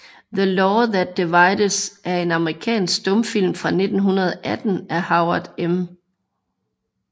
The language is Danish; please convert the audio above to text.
The Law That Divides er en amerikansk stumfilm fra 1918 af Howard M